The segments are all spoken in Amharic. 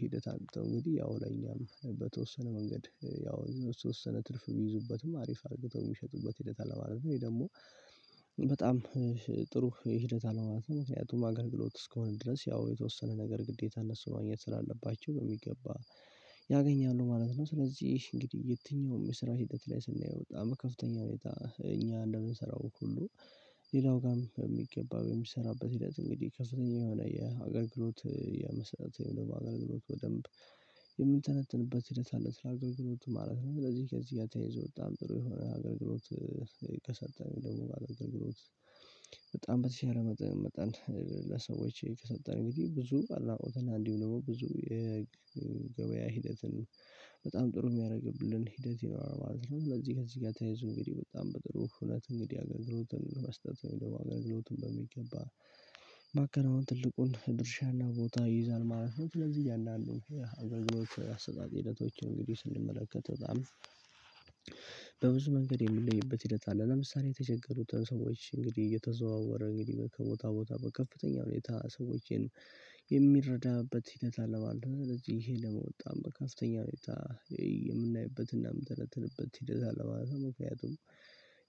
ሂደት አግኝተው እንግዲህ ያው ለኛም በተወሰነ መንገድ ያው ተወሰነ ትርፍ የሚይዙበትም አሪፍ አርግተው የሚሸጡበት ሂደት አለማለት ነው። ይሄ ደግሞ በጣም ጥሩ ሂደት አለው ማለት ነው። ያጡም አገልግሎት እስከሆነ ድረስ ያው የተወሰነ ነገር ግዴታ እነሱ ማግኘት ስላለባቸው በሚገባ ያገኛሉ ማለት ነው። ስለዚህ እንግዲህ የትኛውም የስራ ሂደት ላይ ስናየው በጣም ከፍተኛ ሁኔታ እኛ እንደምንሰራው ሁሉ ሌላው ጋርም የሚገባ ወይም የሚሰራበት ሂደት እንግዲህ ከፍተኛ የሆነ የሀገር ግሎት የመሰረተ የሚለው አገልግሎት በደንብ የምንተነትንበት ሂደት አለ ስለ አገልግሎት ማለት ነው። እንደዚህ ከዚህ ያተይዘው በጣም ጥሩ የሆነ አገልግሎት የተሰጠን ደግሞ ጋር በጣም በተሻለ መጠን ለሰዎች ከሰጠን ጊዜ ብዙ ኣድናቆትን አንዴም ደግሞ ብዙ የገበያ ሂደትን በጣም ጥሩ የሚያደርግብን ሂደት ይኖራል ማለት ነው። ስለዚህ ከዚህ ጋር ተያይዞ እንግዲህ በጣም በጥሩ እውነት እንግዲህ አገልግሎትን መስጠት ወይም ደግሞ አገልግሎትን በሚገባ ማከናወን ትልቁን ድርሻና ቦታ ይይዛል ማለት ነው። ለዚህ እያንዳንዱ የአገልግሎቹ አሰጣጢነቶች እንግዲህ ስንመለከት በጣም በብዙ መንገድ የምንለይበት ሂደት አለ። ለምሳሌ የተቸገሩትን ሰዎች እንግዲህ እየተዘዋወረ እንግዲህ ከቦታ ቦታ ከፍተኛ ሁኔታ ሰዎችን የሚረዳበት ሂደት አለባለብ ልጅ ይሄ በጣም በከፍተኛ ሁኔታ የምናይበትና የምትረተልበት ሂደት አለባለብ። ምክንያቱም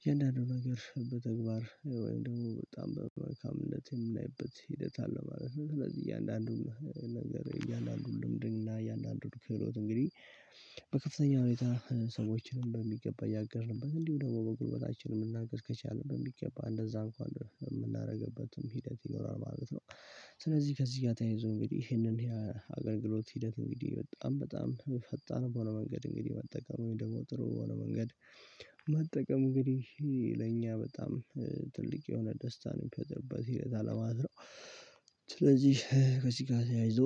የእያንዳንዱ ነገር በተግባር ወይም ደግሞ በጣም በመልካምነት የምናይበት ሂደት አለ ማለት ነው። ስለዚህ እያንዳንዱም ነገር እያንዳንዱን ልምድና እያንዳንዱን ክህሎት እንግዲህ በከፍተኛ ሁኔታ ሰዎችንም በሚገባ ያጋርልበት እንዲሁ ደግሞ በጎረቤታችን መናገር ከቻልንም በሚገባ እንደዛ እንኳን የምናደርግበትም ሂደት ይኖራል ማለት ነው። ስለዚህ ከዚህ ጋር ተያይዞ እንግዲህ ይሄንን ያ አገልግሎት ሂደት እንግዲህ በጣም በጣም ፈጣን በሆነ መንገድ እንግዲህ መጠቀም ወይም ደግሞ ጥሩ በሆነ መንገድ መጠቀም እንግዲህ ለእኛ በጣም ትልቅ የሆነ ደስታን የሚፈትርበት ሲል አላማዝረው። ስለዚህ ከዚህ ጋር ተያይዞ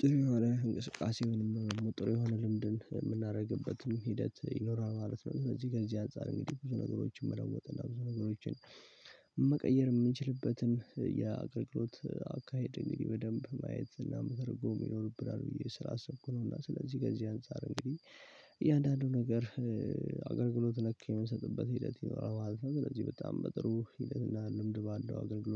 ጥሩ የሆነ እንቅስቃሴ የሆነ ሙጥሩ የሆነ ልምድን የምናደርግበትም ሂደት ይኖራል ማለት ነው። እነዚህ ጋር እዚህ አንፃር እንግዲህ ብዙ ነገሮችን መለወጥ እና ብዙ ነገሮችን መቀየር የምንችልበትን የአገልግሎት አካሄድ እንግዲህ በደንብ ማየት እና መተርጎም ይኖርብናል ብዬ ስላሰብኩ ነው። እና ስለዚህ ገንዘብ አንፃር እንግዲህ እያንዳንዱ ነገር አገልግሎት ነክ የምንሰጥበት ሂደት ይኖራል። ስለዚህ በጣም በጥሩ ሂደትና ልምድ ባለው አገልግሎት